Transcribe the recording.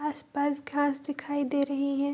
आस-पास घास दिखाई दे रहीं हैं।